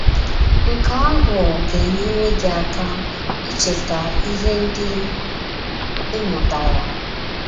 Nke ahụ ga - enyere gị aka icheta ihe ndị ị mụtara.